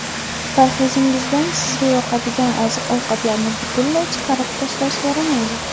Parhezingizdan sizga yoqadigan oziq-ovqatlarni butunlay chiqarib tashlash yaramaydi.